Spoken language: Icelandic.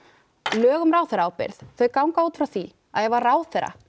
lög um ráðherraábyrgð ganga út frá því að ef að ráðherra